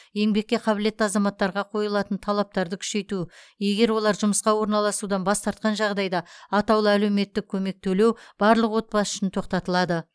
еңбекке қабілетті азаматтарға қойылатын талаптарды күшейту егер олар жұмысқа орналасудан бас тартқан жағдайда атаулы әлеуметтік көмек төлеу барлық отбасы үшін тоқтатылады